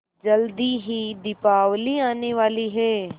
जल्दी ही दीपावली आने वाली है